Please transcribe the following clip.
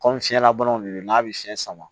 Kɔmi fiyɛnlabanaw de don n'a bɛ fiɲɛ sama